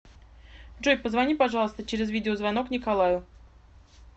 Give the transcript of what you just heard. джой позвони пожалуйста через видеозвонок николаю